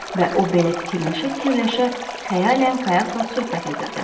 Və o belə fikirləşə-fikirləşə xəyalən qayaqla söhbət edirdi.